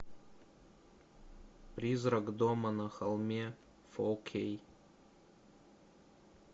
призрак дома на холме фо кей